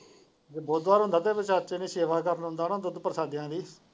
ਜੇ ਬੁੱਧਵਾਰ ਹੁੰਦਾ ਤੇ ਚਾਚੇ ਨੇ ਸੇਵਾ ਕਰਨ ਆਉਂਦਾ ਨਾ ਦੁੱਧ ਪ੍ਰਸ਼ਾਦਿਆਂ ਦੀ।